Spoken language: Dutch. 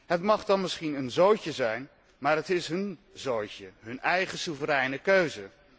Het mag dan misschien een zootje zijn, maar het is hún zootje, hun eigen soevereine keuze.